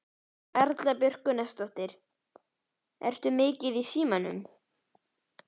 Erla Björg Gunnarsdóttir: Ertu mikið í símanum?